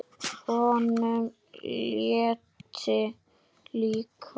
Honum létti líka.